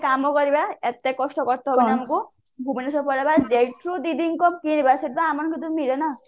ଗୋଟେ କାମ କରିବା ଏତେ କଷ୍ଟ ହବନି ଆମକୁ ଭୁବନେଶ୍ଵର ପଳେଇବା ଯେଉଠୁ ଦିଦିଙ୍କ କିଣିବା ସେଇଠୁ